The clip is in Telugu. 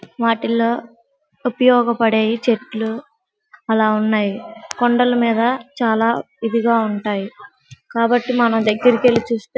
వాటిల్లో ఉపయోగ పాడేవి చెట్లు ఆలా ఉన్నాయ్ కొండల మీద చాల ఇదిగా ఉంటాయి కాబట్టి మనం దగ్గరకు వెళ్లి చుస్తే --